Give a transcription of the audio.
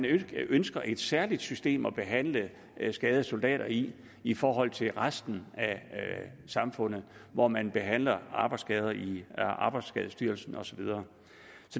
ikke ønsker et særligt system til at behandle skadede soldater i i forhold til resten af samfundet hvor man behandler arbejdsskader i arbejdsskadestyrelsen og så videre